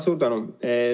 Suur tänu!